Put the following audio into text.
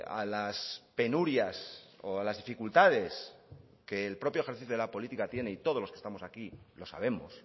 a las penurias o a las dificultades que el propio ejercicio de la política tiene y todos los que estamos aquí lo sabemos